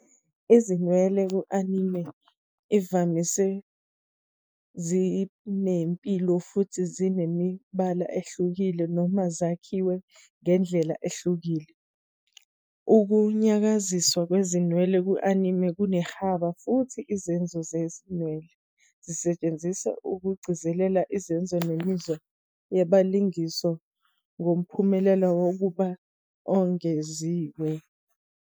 Izinwele ku-anime imvamisa zinempilo futhi zinemibala ehlukile noma zakhiwe ngendlela ehlukile. Ukunyakaziswa kwezinwele ku-anime kunehaba futhi "isenzo sezinwele" sisetshenziselwa ukugcizelela isenzo nemizwa yabalingiswa ngomphumela wokubuka ongeziwe.